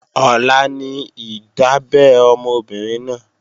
Ọ̀la ní ìdábẹ́ ọmọ obìnrin náà